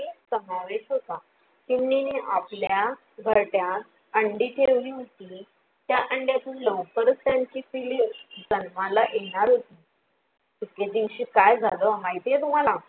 समावेश होता चिमणीने आपल्या घरट्यात अंडी ठेवली होती त्या अंडीतुन लवकरच त्यांची पिल्ले जन्माला येणार होती, एके दिवशी काय झाल माहित आहे तुम्हाला?